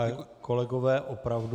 Ale kolegové, opravdu...